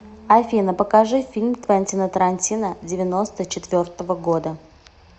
афина покажи фильм твентина тарантино девяносто четвертого года